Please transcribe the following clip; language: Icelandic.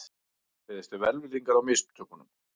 Beðist er velvirðingar á mistökunum